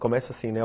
Começa assim, né?